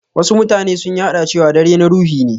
Wasu mutanen sun yarɗa cewa dare na ruhi ne.